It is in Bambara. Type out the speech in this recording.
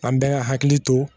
An bɛɛ ka hakili to